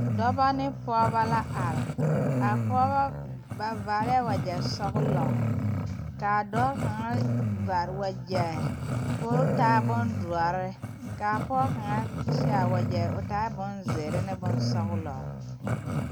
Dɔba ne pɔgeba la are a pɔge ba vaarɛɛ wagyɛ sɔgelɔ kaa dɔɔ kaŋa vaare wagyɛ ko o taa bondoɔre kaa pɔge kaŋ seɛ wagyɛ o taa bonzeere ne bonsɔgelɔ